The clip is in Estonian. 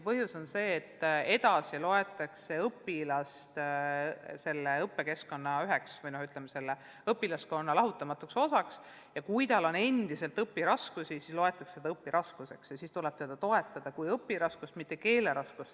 Põhjus on see, et edasi loetakse õpilane selle õppekeskkonna ja õpilaskonna lahutamatuks osaks ja kui tal on endiselt õpiraskusi, siis loetakse seda õpiraskuseks ja teda toetatakse kui õpiraskustega, mitte keeleprobleemiga õpilast.